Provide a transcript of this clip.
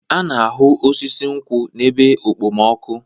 A na-ahụ osisi nkwụ n'ebe okpomọkụ.